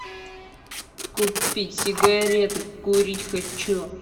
купить сигареты курить хочу